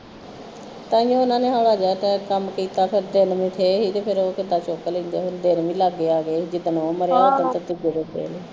ਤਾਂ ਹੀ ਉਹਨਾਂ ਨੇ ਹੋਲਾ ਜਾ ਕਹਿ ਦਿਤਾ ਮੁੜ ਕੇ ਫਿਰ ਇਹ ਹੀ ਕਿ ਕੰਮ ਕੀਤਾ ਸਿਰ ਤੇ ਚੁਕ ਲਈਂਦੇ ਹੁੰਦੇ ਦਿਨ ਵੀ ਲਾਗੇ ਆ ਗਏ ਆ ਤੇ ਜਿਸ ਦਿਨ ਉਹ ਮਰਿਆ ਤਾਂ ਉਸ ਦਿਨ ਕਿਸੇ ਦੇ